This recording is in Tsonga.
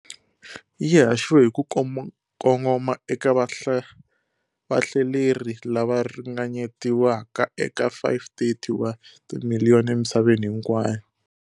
Yi haxiwe hi ku kongoma eka vahlaleri lava ringanyetiwaka eka 530 wa timiliyoni emisaveni hinkwayo.